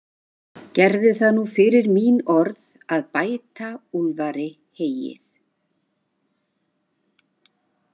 Gerðu það nú fyrir mín orð að bæta Úlfari heyið.